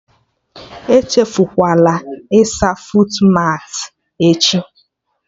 Echefukwala ịsa fuutmatị echi